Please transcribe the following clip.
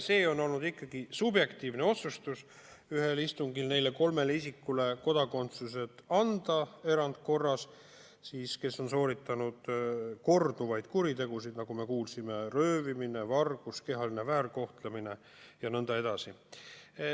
See on olnud ikkagi subjektiivne otsus ühel istungil anda erandkorras kodakondsus kolmele isikule, kes on korduvalt sooritanud kuritegusid, nagu me kuulsime: röövimine, vargus, kehaline väärkohtlemine ja nõnda edasi.